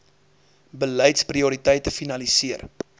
beleids prioriteite finaliseer